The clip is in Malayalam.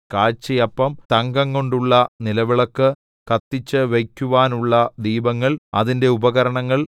കാഴ്ചയപ്പം തങ്കംകൊണ്ടുള്ള നിലവിളക്ക് കത്തിച്ചുവയ്ക്കുവാനുള്ള ദീപങ്ങൾ അതിന്റെ ഉപകരണങ്ങൾ